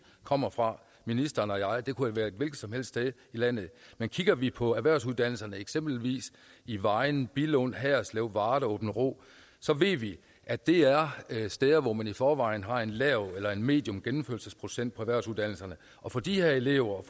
kommer fra ministeren og jeg det kunne være et hvilket som helst sted i landet men kigger vi på erhvervsuddannelserne eksempelvis i vejen billund haderslev varde aabenraa så ved vi at det er steder hvor man i forvejen har en lav eller en medium gennemførelsesprocent på erhvervsuddannelserne og for de her elever